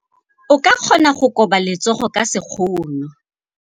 O ka kgona go koba letsogo ka sekgono.